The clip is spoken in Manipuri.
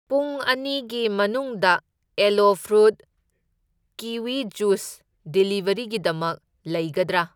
ꯄꯨꯡ ꯑꯅꯤꯒꯤ ꯃꯅꯨꯡꯗ ꯑꯦꯂꯣ ꯐ꯭ꯔꯨꯠ ꯀꯤꯋꯤ ꯖꯨꯢꯁ ꯗꯤꯂꯤꯕꯔꯤꯒꯤꯗꯃꯛ ꯂꯩꯒꯗ꯭ꯔꯥ?